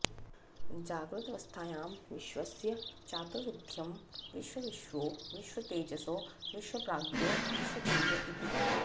जाग्रदवस्थायां विश्वस्य चातुर्विध्यं विश्वविश्वो विश्वतैजसो विश्वप्राज्ञो विश्वतुरीय इति